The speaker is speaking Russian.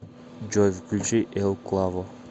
джой включи эл клаво